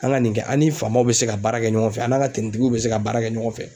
An ŋa nin kɛ an' ni faamaw bɛ se ka baara kɛ ɲɔgɔn fɛ an n'a ka tenitigiw bɛ se ka baara kɛ ɲɔgɔn fɛ.